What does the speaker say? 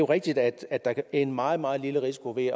rigtigt at der er en meget meget lille risiko ved at